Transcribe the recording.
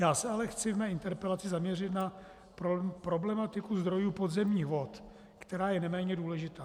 Já se ale chci ve své interpelaci zaměřit na problematiku zdrojů podzemních vod, která je neméně důležitá.